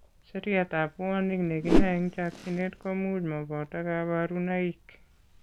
Seriatab puanik ne kinae eng' chokchinet ko much mo boto kabarunoik.